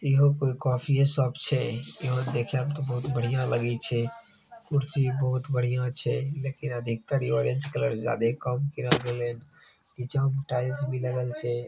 Yahoo कोई coffee shop छे यहां देख में तो बहुत बढ़िया लगी छे कुर्सी बहुत बढ़िया छे लेकिन अधिकतर इ ऑरेंज कलर ज्यादा काम किया गेलं छे निचवा में टाइल्स भी लागल छे।